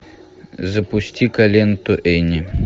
запусти ка ленту энни